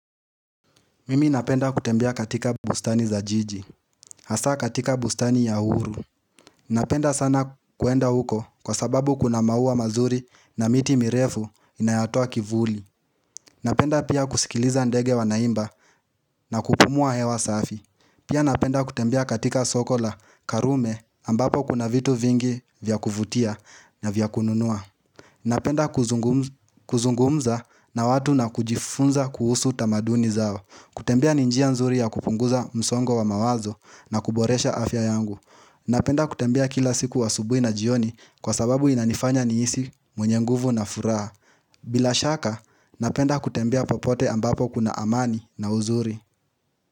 Mimi napenda kutembea katika bustani za jiji, hasa katika bustani ya uhuru Napenda sana kuenda huko kwa sababu kuna mauwa mazuri na miti mirefu inayotoa kivuli Napenda pia kusikiliza ndege wanaimba na kupumua hewa safi Pia napenda kutembea katika soko la karume ambapo kuna vitu vingi vya kuvutia na vya kununua Napenda kuzungumza na watu na kujifunza kuhusu tamaduni zao. Kutembea ni njia nzuri ya kupunguza msongo wa mawazo na kuboresha afya yangu. Napenda kutembea kila siku asubui na jioni kwa sababu inanifanya nihisi mwenye nguvu na furaha bila shaka, napenda kutembea popote ambapo kuna amani na uzuri.